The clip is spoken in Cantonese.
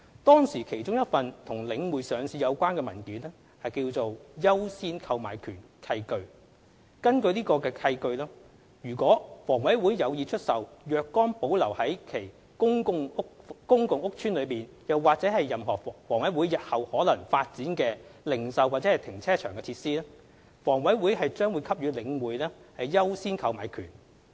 當時其中一份與領匯上市有關的文件為"優先購買權契據"。根據該契據，倘房委會有意出售若干保留於其公共屋邨內或任何房委會日後可能發展的零售及停車場設施，房委會將給予領匯"優先購買權"。